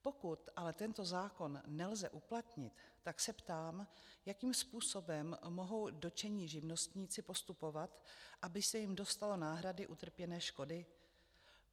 Pokud ale tento zákon nelze uplatnit, tak se ptám, jakým způsobem mohou dotčení živnostníci postupovat, aby se jim dostalo náhrady utrpěné škody.